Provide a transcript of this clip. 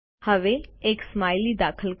હવે એક સ્માઇલી દાખલ કરો